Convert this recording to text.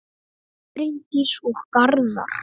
Bryndís og Garðar.